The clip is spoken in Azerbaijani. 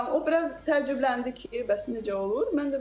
O biraz təcrübələndi ki, bəs necə olur.